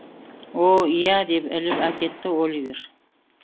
о иә деп іліп әкетті оливер